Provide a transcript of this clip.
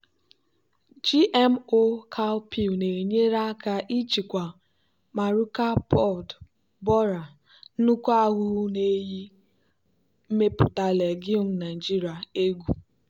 gmo cowpea na-enyere aka ịchịkwa maruca pod borer nnukwu ahụhụ na-eyi mmepụta legume naijiria egwu.